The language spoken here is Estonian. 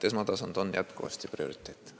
Esmatasand on jätkuvasti prioriteet.